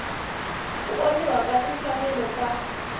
ku onhiwa ka timfanelo ta